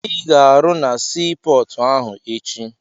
Ị ga-arụ na sii pọọtụ ahụ echi!